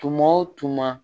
Tuma o tuma